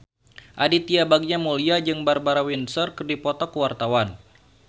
Aditya Bagja Mulyana jeung Barbara Windsor keur dipoto ku wartawan